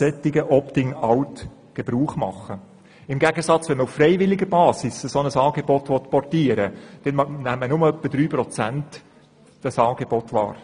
Wenn man hingegen auf freiwilliger Basis ein solches Angebot portieren will, nehmen nur etwa drei Prozent dieses Angebot wahr.